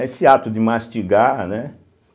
Esse ato de mastigar, né?